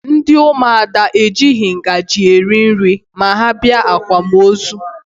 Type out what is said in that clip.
Ndị ụmụada ejighi ngaji eri nri ma ha bịa akwamozu